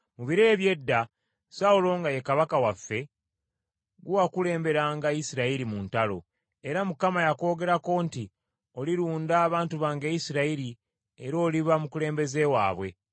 Mu biro eby’edda, Sawulo nga ye kabaka waffe, gwe wakulemberanga Isirayiri mu ntalo. Era Mukama yakwogerako nti, ‘Olirunda abantu bange Isirayiri, era oliba mukulembeze waabwe.’ ”